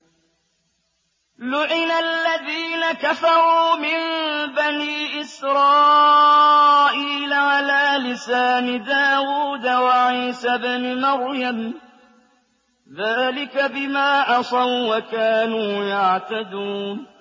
لُعِنَ الَّذِينَ كَفَرُوا مِن بَنِي إِسْرَائِيلَ عَلَىٰ لِسَانِ دَاوُودَ وَعِيسَى ابْنِ مَرْيَمَ ۚ ذَٰلِكَ بِمَا عَصَوا وَّكَانُوا يَعْتَدُونَ